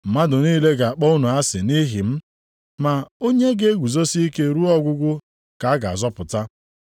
Mmadụ niile ga-akpọ unu asị nʼihi m, ma onye ga-eguzosi ike ruo ọgwụgwụ ka a ga-azọpụta.